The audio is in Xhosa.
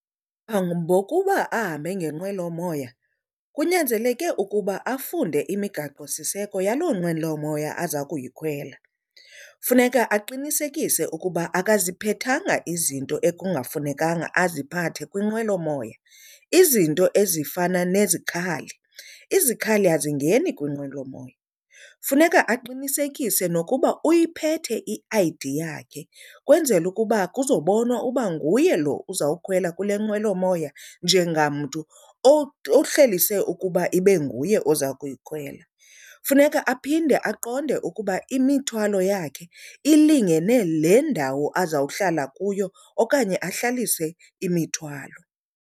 Phambi kokuba ahambe ngenqwelomoya kunyanzeleke ukuba afunde imigaqosiseko yaloo nqwelomoya aza kuyikhwela. Funeka aqinisekise ukuba akaziphethanga izinto ekungafunekanga aziphathe kwinqwelomoya, izinto ezifana nezikhali. izikhali azingeni kwinqwelomoya. Funeka aqinisekise nokuba uyiphete i-I_D yakhe kwenzele ukuba kuzobonwa uba nguye lo uzawukhwela kule nqwelomoya njengamntu ohleliswe ukuba ibe nguye oza kuyikhwela. Funeka aphinde aqonde ukuba imithwalo yakhe ilingene le ndawo azawuhlala kuyo okanye ahlalise imithwalo.